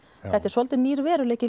þetta er svolítið nýr veruleiki